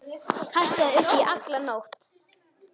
Kastaði upp í alla nótt.